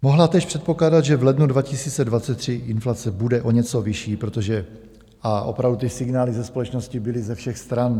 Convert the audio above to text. Mohla též předpokládat, že v lednu 2023 inflace bude o něco vyšší, protože - a opravdu ty signály ze společnosti byly ze všech stran.